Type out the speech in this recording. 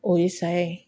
O ye saya ye